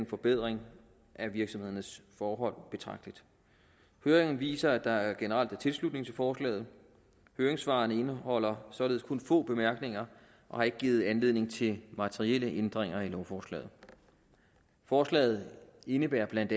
forbedring af virksomhedernes forhold høringen viser at der generelt er tilslutning til forslaget høringssvarene indeholder således kun få bemærkninger og har ikke givet anledning til materielle ændringer i lovforslaget forslaget indebærer bla